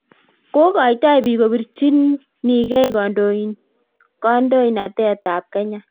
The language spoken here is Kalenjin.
kogotoi biik kobirchinigei kandoinotetab Kenya